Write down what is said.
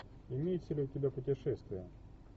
имеется ли у тебя путешествие